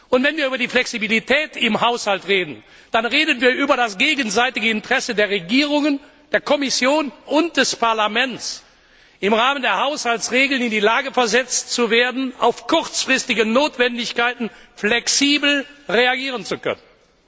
Und wenn wir über die Flexibilität im Haushalt reden, dann reden wir über das gegenseitige Interesse der Regierungen, der Kommission und des Parlaments, im Rahmen der Haushaltsregeln in die Lage versetzt zu werden, auf kurzfristige Notwendigkeiten flexibel reagieren zu können.